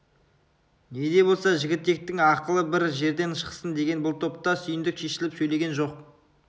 не де болса жігітектің ақылы бір жерден шықсын дегені бұл топта сүйіндік шешіліп сөйлеген жоқ